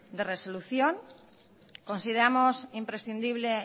de resolución consideramos imprescindible